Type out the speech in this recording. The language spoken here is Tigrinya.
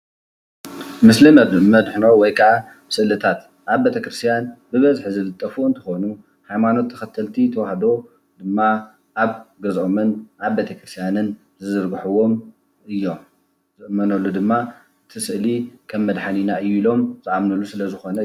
ምስሊ መድሕኖ ወይከዓ ስእልታት ናብ ቤተ ክርስትያን ብበዝሒ ዝልጠፉ አንትኮኑ ሃይማኖት ተከተልቲ ተዋህዶ ድማ ኣብ ገዝኦምን ኣብ ቤተ ክርስትያንን ዝዝርግሕዎም እዮም። ዝእመነሉ ድማ እቲ ስእሊ ከም መድሓኒና እዮ ኢሎም ዝኣምንሉ ስለዝኮነ እዩ።